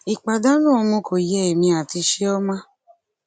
ìpàdánù ọmọ kò yé èmi àti chioma